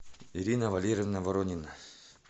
ирина валерьевна воронина